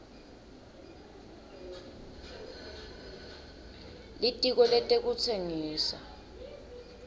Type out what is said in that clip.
litiko letekutsengisa